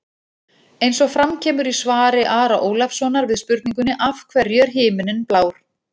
Eins og fram kemur í svari Ara Ólafssonar við spurningunni Af hverju er himinninn blár?